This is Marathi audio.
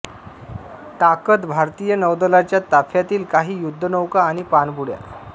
ताकद भारतीय नौदलाच्या ताफ्यातील काही युद्ध नौका आणि पाणबुड्या